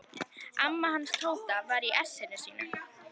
Amma hans Tóta var í essinu sínu.